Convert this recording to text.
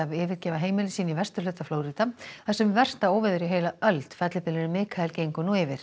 yfirgefa heimili sín í vesturhluta Flórída þar sem versta óveður í heila öld fellibylurinn Mikael gengur nú yfir